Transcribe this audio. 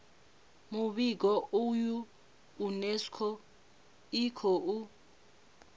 muvhigo uyu unesco i khou